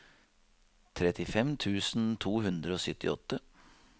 trettifem tusen to hundre og syttiåtte